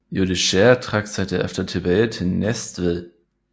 Judichær trak sig derefter tilbage til Næstved